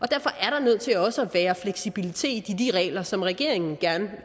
der nødt til også at være fleksibilitet i de regler som regeringen gerne